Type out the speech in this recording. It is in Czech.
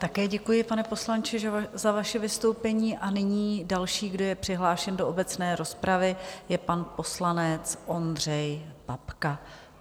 Také děkuji, pane poslanče, za vaše vystoupení a nyní další, kdo je přihlášen do obecné rozpravy, je pan poslanec Ondřej Babka.